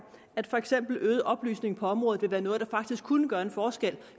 at for eksempel øget oplysning på området vil være noget der faktisk kunne gøre en forskel